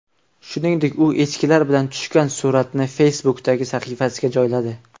Shuningdek, u echkilar bilan tushgan suratini Facebook’dagi sahifasiga joyladi.